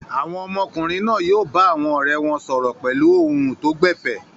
Àwọn ọmọkùnrin náà yóò bá àwọn ọ̀rẹ́ wọn sọ̀rọ̀ pẹ̀lú ohùn tó gbẹ̀fẹ̀.